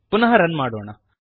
ಪುನಃ ರನ್ ಮಾಡೋಣ